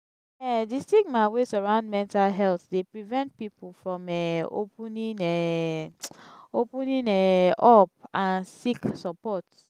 um di stigma wey surround mental health dey prevent people from um opening um opening um up and seek suppprt.